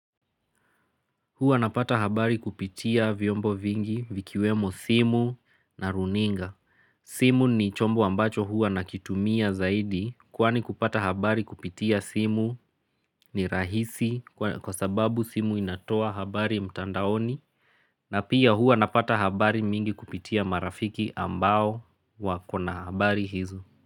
Huwa napata habari kupitia vyombo vingi vikiwemo simu na runinga. Simu ni chombo ambacho huwa nakitumia zaidi. Kwani kupata habari kupitia simu ni rahisi kwa sababu simu inatoa habari mtandaoni. Na pia huwa napata habari mingi kupitia marafiki ambao wako na habari hizo.